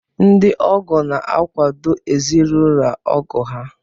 Ndị ọgọ na-akwàdò ezinaụlọ ọgọ ha